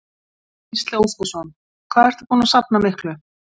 Gísli Óskarsson: Hvað ertu búinn að safna miklu?